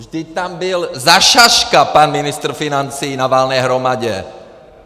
Vždyť tam byl za šaška pan ministr financí na valné hromadě.